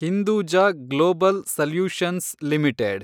Hinduja global solutions limited